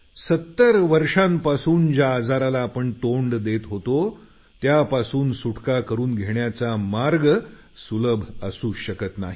70 वर्षांपासून ज्या आजाराला आपण तोंड देत होतो त्यापासून सुटका करून घेण्याचा मार्ग सुलभ असू शकत नाही